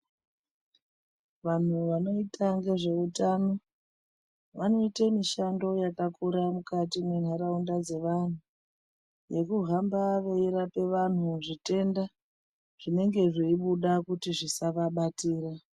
Vanhu vanoita ngezveutano vanoite mishando yakakura mukati mendaraunda dzevantu nekuhambaveirape vantu zvitenda zvinenge zveibuda kuti zvisavabatira.